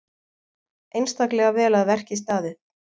Einstaklega vel að verki staðið.